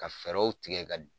Ka fɛrɛw tigɛ ka.